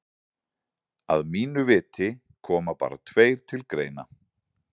Að mínu viti koma bara tveir til greina.